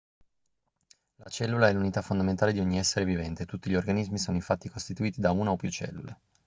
la cellula è l'unità fondamentale di ogni essere vivente tutti gli organismi sono infatti costituiti da una o più cellule